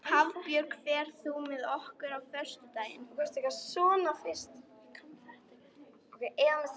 Hafbjörg, ferð þú með okkur á föstudaginn?